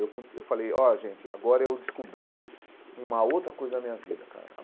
Eu con eu falei, ó, gente, agora eu descobri uma outra coisa da minha vida, cara.